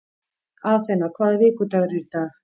Athena, hvaða vikudagur er í dag?